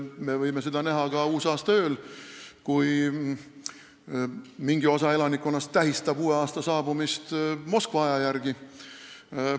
Me võime seda näha ka uusaastaööl, kui mingi osa elanikkonnast tähistab uue aasta saabumist Moskva aja järgi.